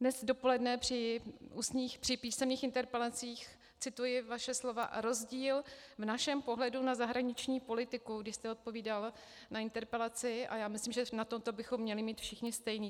Dnes dopoledne při písemných interpelacích, cituji vaše slova: "rozdíl v našem pohledu na zahraniční politiku", když jste odpovídal na interpelaci, a já myslím, že na toto bychom měli mít všichni stejný.